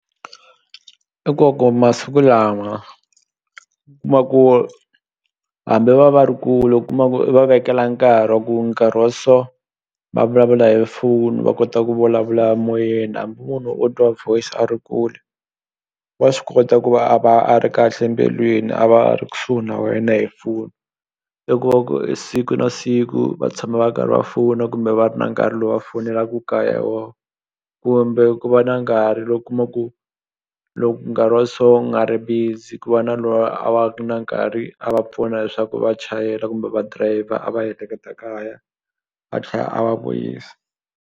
I ku va ku masiku lama kuma ku hambi va va ri kule kuma u va vekela nkarhi wa ku nkarhi wa so va vulavula hi foni va kota ku vulavula moyeni hambi munhu o twa voice a ri kule wa swi kota ku va a va a ri kahle mbilwini a va a ri kusuhi na wena hi foni i ku va ku siku na siku va tshama va karhi va fona kumbe va ri na nkarhi lowu va fonelaku kaya wo kumbe ku va na nkarhi lowu u kuma ku loko nkarhi wa so u nga ri busy ku va na loyi a va ku na nkarhi a va pfuna leswaku va chayela kumbe va driver a va heheketa kaya a tlhe a va vuyisi.